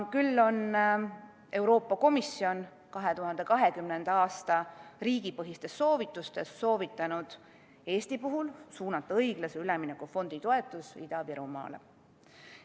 Küll aga on Euroopa Komisjon 2020. aasta riigipõhistes soovitustes soovitanud Eestil suunata õiglase ülemineku fondi toetus Ida-Virumaale.